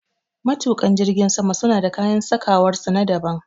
Matuƙa jirgin sama suna da kayan sakawar su na daban